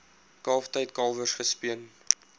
kalftyd kalwers gespeen